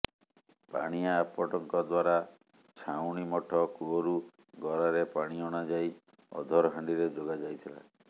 ପାଣିଆ ଆପଟଙ୍କ ଦ୍ୱାରା ଛାଉଣିମଠ କୂଅରୁ ଗରାରେ ପାଣି ଅଣାଯାଇ ଅଧରହାଣ୍ଡିରେ ଯୋଗାଯାଇଥିଲା